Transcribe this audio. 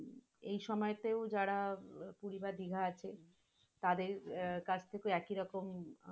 পুরি বা দিঘা আছে, তাদের আহ তার থেকে একই রকম